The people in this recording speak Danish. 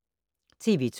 TV 2